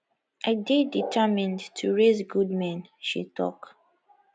i dey determined to raise good men she tok